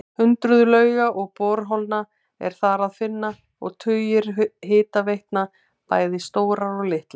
Hundruð lauga og borholna er þar að finna og tugir hitaveitna, bæði stórar og litlar.